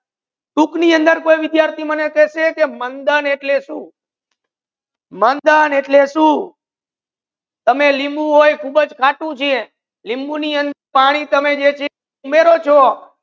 કોઈ વિદ્યાર્થિ મને કહેસે મંધન એટલા સુ મંધન એટલા સુ તમે લિંબુ હોય ખૂબ જ ખાતુ છે લિંબુ ની પાની જે તમે ઉમેરો છો